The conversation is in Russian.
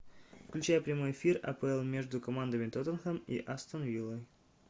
включай прямой эфир апл между командами тоттенхэм и астон виллой